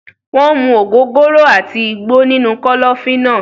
Wọ́n ń mu ògógóró àti igbó nínú kọ́lọ́fín náà.